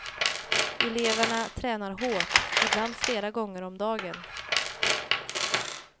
Eleverna tränar hårt, ibland flera gånger om dagen.